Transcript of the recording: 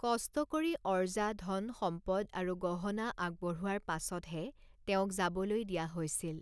কষ্ট কৰি অৰ্জা ধন সম্পদ আৰু গহনা আগবঢ়োৱাৰ পাছতহে তেওঁক যাবলৈ দিয়া হৈছিল।